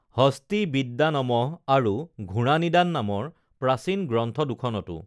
হস্তিবিদ্যানমঃ আৰু ঘোঁৰা নিদান নামৰ প্ৰাচীন গ্ৰন্থ দুখনতো